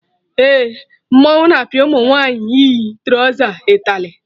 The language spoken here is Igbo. Eh, mmọnwụ na apịa ụmụ nwaanyị yi trọza ịtalị